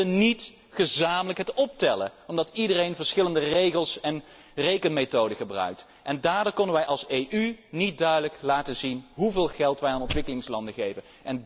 Maar we konden niet bij elkaar optellen, omdat iedereen verschillende regels en rekenmethoden gebruikt, en daardoor konden wij als EU niet duidelijk laten zien hoeveel geld wij aan ontwikkelingslanden geven.